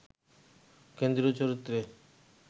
কেন্দ্রীয় চরিত্রে